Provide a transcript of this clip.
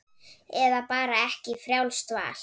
Eða bara ekki, frjálst val.